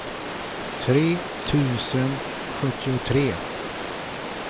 tre tusen sjuttiotre